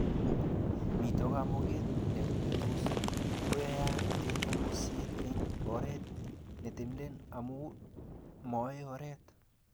mito kamugeet netos koyayak kanyuiset eng oret netenden amu maoo oret